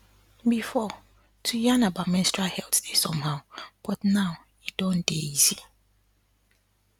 before to yarn about menstrual health dey somehow but now e don dey easy